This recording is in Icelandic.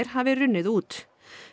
hafi runnið út